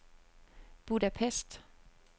Budapest